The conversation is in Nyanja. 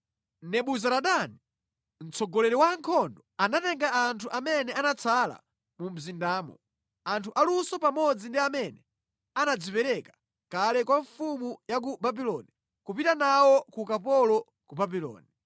Nebuzaradani mtsogoleri wa ankhondo anatenga anthu amene anatsala mu mzindamo, anthu aluso pamodzi ndi amene anadzipereka kale kwa mfumu ya ku Babuloni kupita nawo ku ukapolo ku Babuloni.